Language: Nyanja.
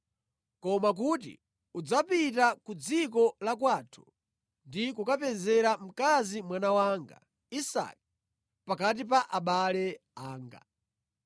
koma kuti udzapita ku dziko la kwathu ndi kukamupezera mkazi mwana wanga Isake pakati pa abale anga.”